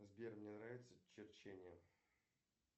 сбер мне нравится черчение